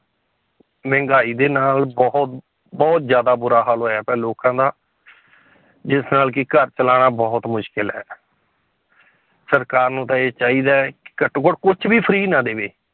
ਮਹਿੰਗਾਈ ਦੇ ਨਾਲ ਬਹੁਤ ਬਹੁਤ ਜ਼ਿਆਦਾ ਬੁਰਾ ਹਾਲ ਹੋਇਆ ਪਿਆ ਲੋਕਾਂ ਦਾ ਜਿਸ ਨਾਲ ਕਿ ਘਰ ਚਲਾਉਣਾ ਬਹੁਤ ਮੁਸ਼ਕਲ ਹੈ ਸਰਕਾਰ ਨੂੰ ਤਾਂ ਇਹ ਚਾਹੀਦਾ ਹੈ ਘੱਟੋ ਘੱਟ ਕੁਛ ਵੀ free ਨਾ ਦੇਵੇ